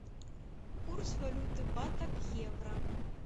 курс валюты бата к евро